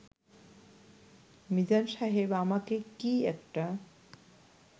মিজান সাহেব, আমাকে কি একটা